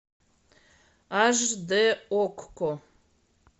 аш дэ окко